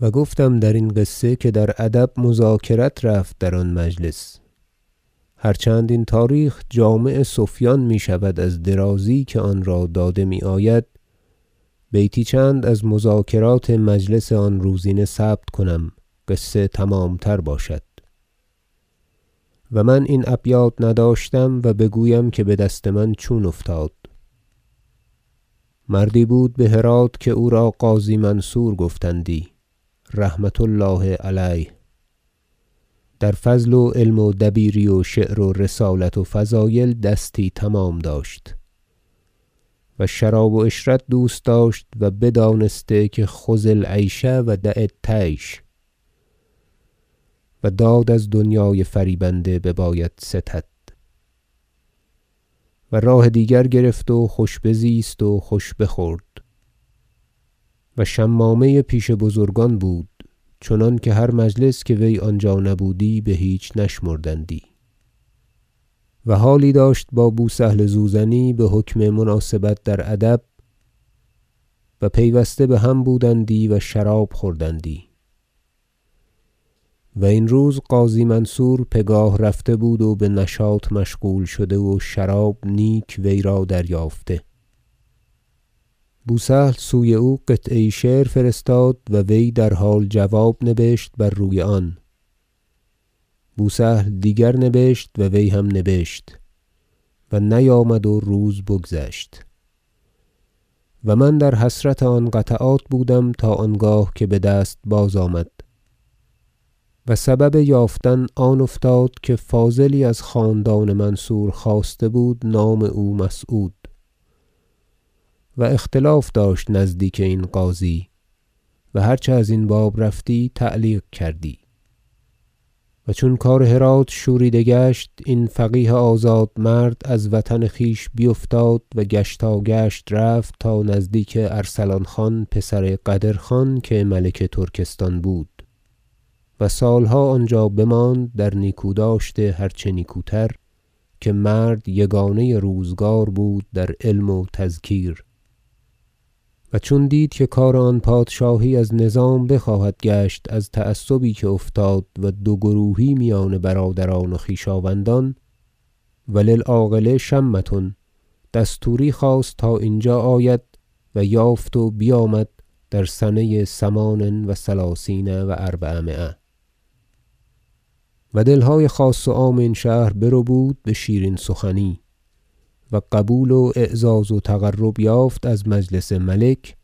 و گفتم درین قصه که در ادب مذاکرت رفت در آن مجلس هر چند این تاریخ جامع سفیان میشود از درازی که آن را داده میآید بیتی چند از مذاکرات مجلس آن روزینه ثبت کنم قصه تمامتر باشد و من این ابیات نداشتم و بگویم که بدست من چون افتاد مردی بود بهرات که او را قاضی منصور گفتندی رحمة الله علیه و در فضل و علم و دبیری و شعر و رسالت و فضایل دستی تمام داشت و شراب و عشرت دوست داشت و بدانسته که خذ العیش و دع الطیش و داد از دنیای فریبنده بباید ستد و راه دیگر گرفت و خوش بزیست و خوش بخورد و شمامه پیش بزرگان بود چنانکه هر مجلس که وی آنجا نبودی بهیچ نشمردندی و حالی داشت با بو سهل زوزنی بحکم مناسبت در ادب و پیوسته بهم بودندی و شراب خوردندی و این روز قاضی منصور پگاه رفته بود و بنشاط مشغول شده و شراب نیک ویرا دریافته بو سهل سوی او قطعه یی شعر فرستاد و وی در حال جواب نبشت بر آن روی بو سهل دیگر نبشت و وی هم نبشت و نیامد و روز بگذشت من در حسرت آن قطعات بودم تا آنگاه که بدست بازآمد و سبب یافتن آن افتاد که فاضلی از خاندان منصور خاسته بود نام او مسعود و اختلاف داشت نزدیک این قاضی و هر چه ازین باب رفتی تعلیق کردی و چون کار هرات شوریده گشت این فقیه آزاد مرد از وطن خویش بیفتاد و گشتا- گشت رفت تا نزدیک ارسلان خان پسر قدرخان که ملک ترکستان بود و سالها آنجا بماند در نیکو داشت هر چه نیکوتر که مرد یگانه روزگار بود در علم و تذکیر و چون دید که کار آن پادشاهی از نظام بخواهد گشت از تعصبی که افتاد و دو گروهی میان برادران و خویشاوندان و للعاقل شمة دستوری خواست تا اینجا آید و یافت و بیامد در سنه ثمان و ثلثین و اربعمایه و دلهای خاص و عام این شهر بربود بشیرین سخنی و قبول و اعزاز و تقرب یافت از مجلس ملک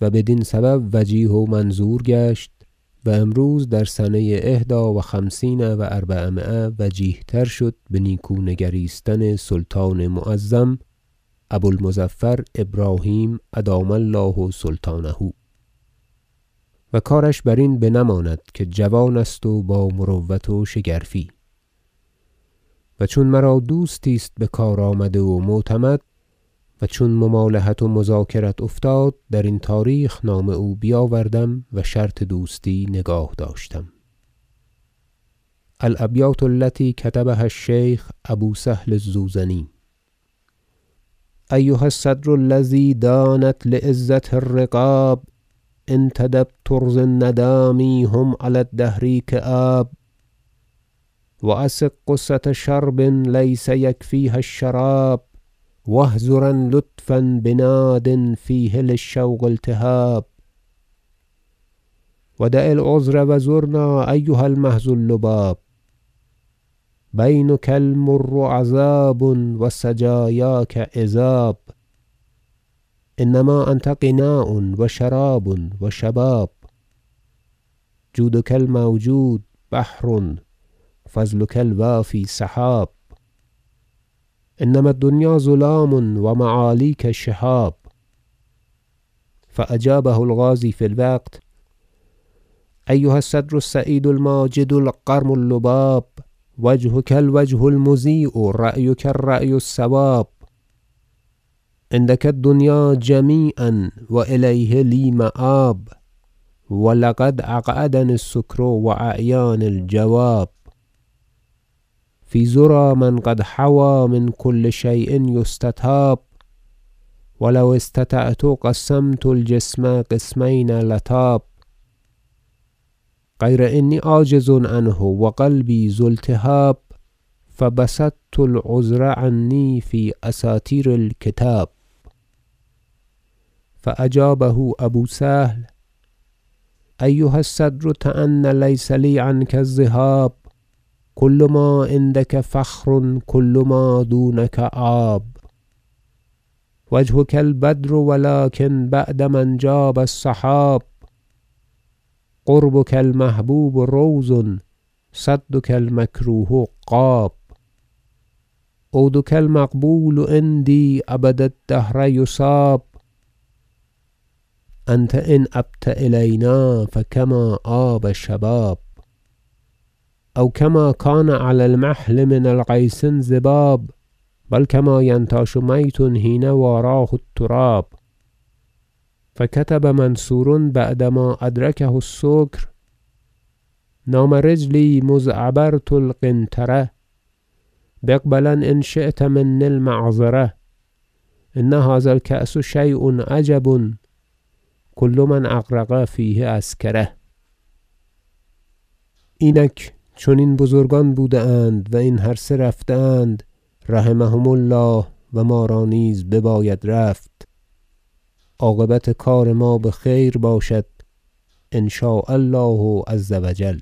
و بدین سبب وجیه و منظور گشت و امروز در سنه إحدی و خمسین و اربعمایه وجیه تر شد به نیکو نگریستن سلطان معظم ابو المظفر ابراهیم ادام الله سلطانه و کارش برین بنماند که جوان است و با مروت و شگرفی و چون مرا دوستی است بکار آمده و معتمد و چون ممالحت و مذاکرت افتاد درین تاریخ نام او بیاوردم و شرط دوستی نگاه داشتم الابیات التی کتبها الشیخ ابو سهل الزوزنی ایها الصدر الذی دانت لعزته الرقاب انتدب ترض الندامی هم علی الدهر کیاب و اسغ غصة شرب لیس یکفیها الشراب و احضرن لطفا بناد فیه للشوق التهاب و دع العذر و زرنا ایها المحض اللباب بینک المر عذاب و سجایاک عذاب انما انت غناء و شراب و شباب جودک الموجود بحر فضلک الوافی سحاب انما الدنیا ظلام و معالیک شهاب فأجابه القاضی فی الوقت ایها الصدر السعید الماجد القرم اللباب وجهک الوجه المضیی رایک الرأی الصواب عندک الدنیا جمیعا و الیها لی مآب و لقد اقعدنی السکر و اعیانی الجواب فی ذری من قد حوی من کل شی ء یستطاب و لو اسطعت قسمت الجسم قسمین لطاب غیر انی عاجز عنه و قلبی ذو التهاب فبسطت العذر عنی فی اساطیر الکتاب فأجابه ابو سهل ایها الصدر تان لیس لی عنک ذهاب کل ما عندک فخر کل ما دونک عاب وجهک البدر و لکن بعد ما انجاب السحاب قربک المحبوب روض صدک المکروه غاب عودک المقبول عندی ابد الدهر یصاب انت ان ابت الینا فکما آب الشباب او کما کان علی المحل من الغیث انصباب بل کما ینتاش میت حین و اراه التراب فکتب منصور بعد ما ادرکه السکر نام رجلی مذ عبرت القنطرة فاقبلن ان شیت منی المعذره ان هذا الکأس شی ء عجب کل من اغرق فیه اسکره اینک چنین بزرگان بوده اند و این هر سه رفته اند رحمهم الله و ما را نیز بباید رفت عاقبت کار ما بخیر باشد ان شاء الله عز و جل